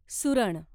सुरण